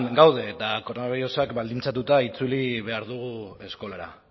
gaude eta koronabirusak baldintzatuta itzuli behar dugu eskolara